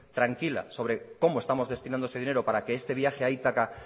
tranquila sobre cómo estamos destinando ese dinero para que este viaje a ítaca